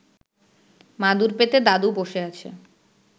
মাদুর পেতে দাদু বসে আছে